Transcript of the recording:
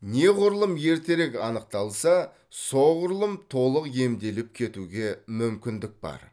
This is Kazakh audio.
неғұрлым ертерек анықталса соғұрлым толық емделіп кетуге мүмкіндік бар